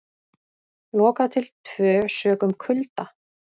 Lokað til tvö sökum kulda